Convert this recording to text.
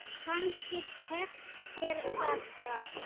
Kannski tekst þér þetta.